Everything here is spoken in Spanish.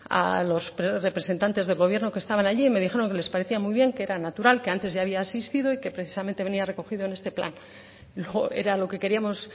a los tres representantes del gobierno que estaban allí y me dijeron que les parecía muy bien que era natural que antes ya había existido y que precisamente venía recogido en este plan era lo que queríamos